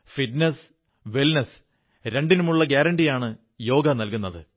fitness wellness രണ്ടിനുമുള്ള ഗ്യാരണ്ടിയാണു യോഗ നല്കുന്നത്